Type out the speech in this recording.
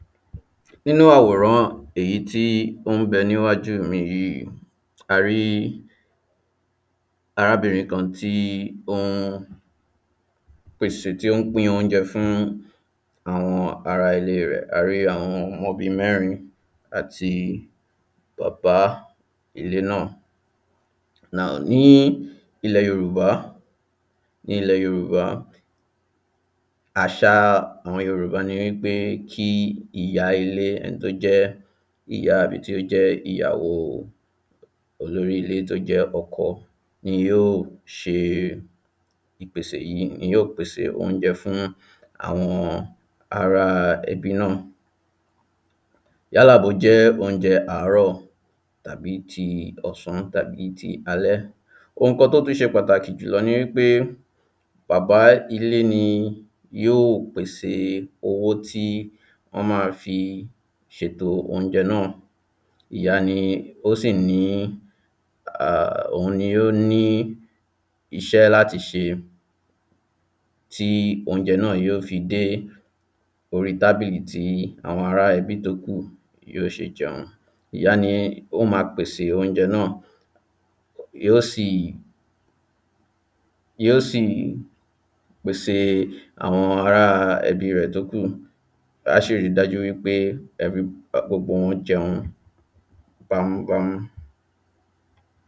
nínú àwòrán èyí tí ó n bẹ níwájú miì yí, a rí arábìnrin kan tí ó n, pèsè, tí ó n pín ounjẹ fún àwọn ará ilée rẹ̀, a rí àwọn ọmọ bíi mẹ́rin àti bàbá ilé nà, cs[now,] ní ilẹ̀ Yorùbá ilẹ̀, ní Yorùbá, àṣà àwọn Yorùbá ni wípé kí ìyá ilé, ẹni tó jẹ́ ìyá àbí tó jẹ́ ìyá àbí tí ó jẹ́ ìyàwó olórí ilé tí ó jẹ́ ọkọ ni yóò se ìpèsè yí, ni yóò pèsè oúnjẹ fún àwọn ará ẹbí nà, yálà bó jẹ́ oúnjẹ àárò, tàbí ti ọsán, tàbí ti alẹ́, oun kan tó tún se pàtàkì jùlọ ni wípé bàbá ilé ni yóò pèsè owó tí wọ́n ma fi sètò oúnjẹ náà, ìyá ni ó sì ní, òun ni ó ní isẹ̀ láti se tí oúnjẹ náà yó fi dé oríi tábìlì tí àwọn ará-ẹbí tó kù, yó se jẹun, ìyá ni ó ma pèsè oúnjẹ ma, yó sì, yó sì pèsè àwọn ará-ẹbí rẹ̀ tó kù, á sì ri dájú pé every, gbogbo wọn jẹun bámú bámú.